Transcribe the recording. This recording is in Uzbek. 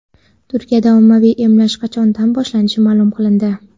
Turkiyada ommaviy emlash qachondan boshlanishi ma’lum qilindi.